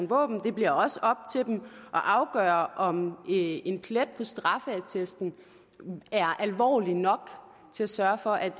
våben det bliver også op til dem at afgøre om en plet på straffeattesten er alvorlig nok til at sørge for at